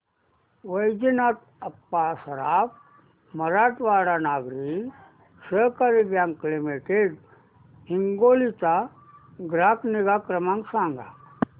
Vaijnath Appa Saraf Marathwada Nagari Sahakari bank limited Hingoli चा ग्राहक निगा क्रमांक सांगा